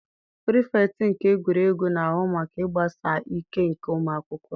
Pirifektị nke egwuregwu na-ahụ maka ịgbasi ike nke ụmụ akwụkwọ.